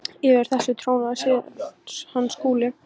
Yfir þessu trónaði síðan hann Skúli.